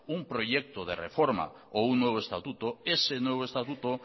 un proyecto de reforma o un nuevo estatuto ese nuevo estatuto